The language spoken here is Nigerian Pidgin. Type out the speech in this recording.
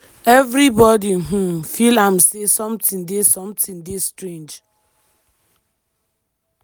evribodi um feel am say sometin dey sometin dey strange.